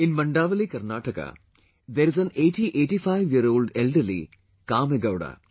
In Mandavali, Karnataka there is an 8085 year old elder Kamegowda